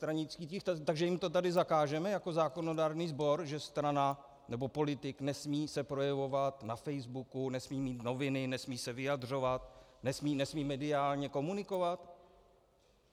Takže jim to tady zakážeme jako zákonodárný sbor, že strana nebo politik se nesmí projevovat na Facebooku, nesmí mít noviny, nesmí se vyjadřovat, nesmí mediálně komunikovat?